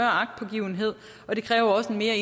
agtpågivenhed og det kræver også en